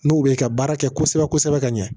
N'o bɛ ka baara kɛ kosɛbɛ kosɛbɛ ka ɲɛ